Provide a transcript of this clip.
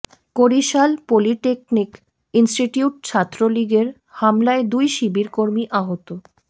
Barishal polytechnic institute ছাত্রলীগের হামলায় দুই শিবির কর্মী আহত